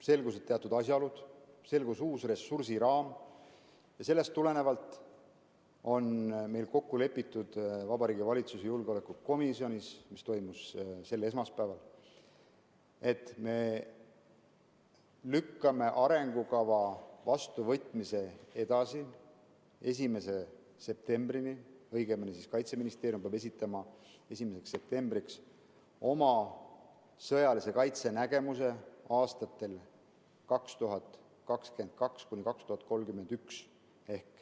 Selgusid teatud asjaolud, selgus uus ressursiraam ja sellest tulenevalt on meil kokku lepitud Vabariigi Valitsuse julgeolekukomisjonis, mis oli koos sel esmaspäeval, et me lükkame arengukava vastuvõtmise edasi 1. septembrini, õigemini Kaitseministeerium peab esitama 1. septembriks oma sõjalise kaitse nägemuse aastateks 2022–2031.